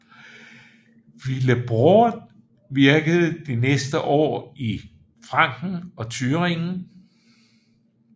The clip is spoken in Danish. Willibrord virkede de næste år i Franken og Thüringen